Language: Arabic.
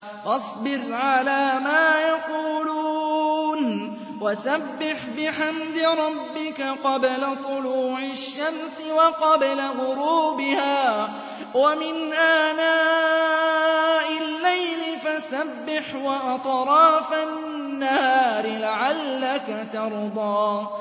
فَاصْبِرْ عَلَىٰ مَا يَقُولُونَ وَسَبِّحْ بِحَمْدِ رَبِّكَ قَبْلَ طُلُوعِ الشَّمْسِ وَقَبْلَ غُرُوبِهَا ۖ وَمِنْ آنَاءِ اللَّيْلِ فَسَبِّحْ وَأَطْرَافَ النَّهَارِ لَعَلَّكَ تَرْضَىٰ